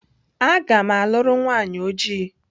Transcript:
Agam luru nwanyi oji.